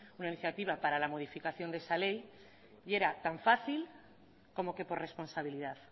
una iniciativa para la modificación de esa ley y era tan fácil como que por responsabilidad